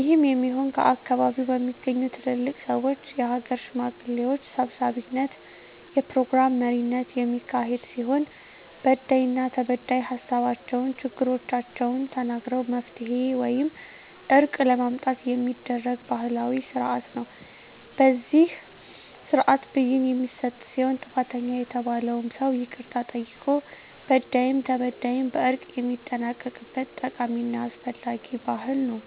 ይህም የሚሆን ከአካባቢዉ በሚገኙ ትልልቅ ሰወች(የሀገር ሽማግሌዎች) ሰብሳቢነት(የፕሮግራም መሪነት) የሚካሄድ ሲሆን በዳይና ተበዳይ ሀሳባቸዉን(ችግሮቻቸዉን) ተናግረዉ መፍትሄ ወይም እርቅ ለማምጣት የሚደረግ ባህላዊ ስርአት ነዉ። በዚህ ስርአትም ብይን የሚሰጥ ሲሆን ጥፋተኛ የተባለዉም ሰዉ ይቅርታ ጠይቆ በዳይም ተበዳይም በእርቅ የሚጠናቀቅበት ጠቃሚና አስፈላጊ ባህል ነዉ።